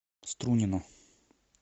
струнино